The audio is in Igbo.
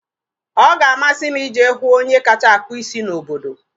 Ọ ga-amasị m ije hụ onye kacha akpụ isi n'obodo